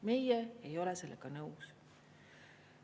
Meie ei ole sellega nõus.